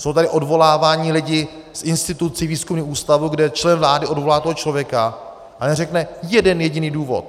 Jsou tady odvoláváni lidé z institucí, výzkumných ústavů, kde člen vlády odvolá toho člověka a neřekne jeden jediný důvod.